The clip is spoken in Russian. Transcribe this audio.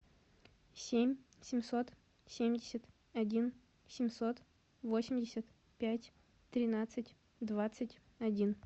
семь семьсот семьдесят один семьсот восемьдесят пять тринадцать двадцать один